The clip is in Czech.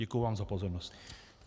Děkuju vám za pozornost.